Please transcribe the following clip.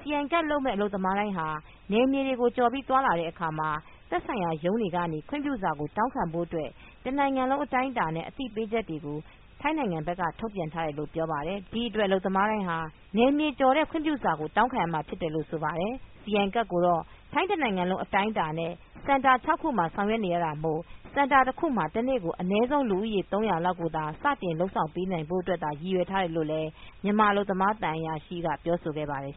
စီအိုင်ကဒ်လုပ်မယ့် အလုပ်သမားတိုင်းဟာ နယ်မြေကိုကျော်ပြီးသွားလာတဲ့အခါမှာ သက်ဆိုင်ရာရုံးတွေကနေ ခွင့်ပြုစာကိုတောင်းခံဖို့ အတွက် တနိုင်ငံလုံးအတိုင်းအတာနဲ့ အသိပေးချက်တွေကိုထိုင်းဘက်ကထုတ်ပြန်ထားတယ်လို့ပြောပါတယ်။ ဒီအတွက်အလုပ်သမားတိုင်းဟာ နယ်မြေကျော်ဖို့အတွက် ခွင့်ပြစာကို တောင်းခံရမှာဖြစ်တယ်လို့ဆိုပါတယ် စီအိုင်ကဒ်ကိုကိုတော့ ထိုင်းတနိုင်ငံလုံးအတိုင်းအတာနဲ့ စင်တာ ၆ခုမှာဆောင်ရွက်နေရတာမို့စင်တာတခုမှာ တနေ့ ကို အနည်းဆုံးလူဦးရေ ၃၀၀လောက်ကိုသာစတင်လုပ်ပေးနိုင်ဖို့ရည်ရွယ်ထားတယ်လို့လည်းမြန်မာအလုပ်သမား သံအရာရှိကပြောပြခဲ့ပါတယ်